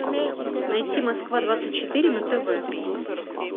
найти москва двадцать четыре на тв